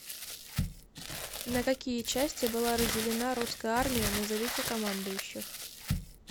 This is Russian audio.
на какие части была разделена русская армия назовите командующих